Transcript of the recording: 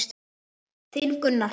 Þinn Gunnar Hrafn.